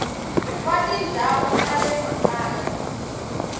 wa tindhawu ta le makaya